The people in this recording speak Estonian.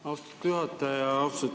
Austatud juhataja!